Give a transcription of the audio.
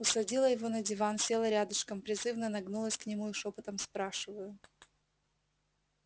усадила его на диван села рядышком призывно нагнулась к нему и шёпотом спрашиваю